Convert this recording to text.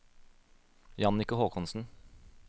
Jannicke Håkonsen